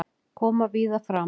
Koma víða fram